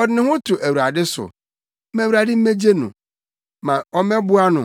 “Ɔde ne ho to Awurade so; ma Awurade mmegye no. Ma ɔmmɛboa no,